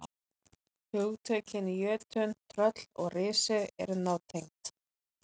Hugtökin jötunn, tröll og risi eru nátengd.